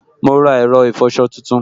Mo ra ẹ̀rọ ìfọsọ tuntun